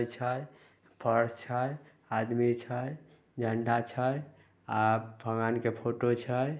छै फर्श छै आदमी छै झंडा छै आ भगवान के फोटो छै।